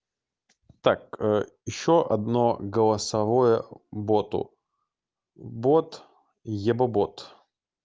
так ещё одно голосовое боту бот ебобот